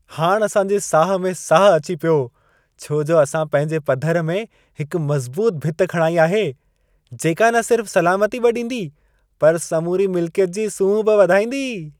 हाणि असां जे साह में साहु अची पियो छो जो असां पंहिंजे पधर में हिक मज़बूत भित खणाई आहे। जेका न सिर्फ़ सलामती बि ॾींदी, पर समूरी मिलिकियत जी सूंह बि वधाईंदी।